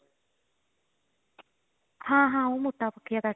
ਹਾਂ ਹਾਂ ਉਹ ਮੋਟਾ ਬਖਿਆ ਕਰਕੇ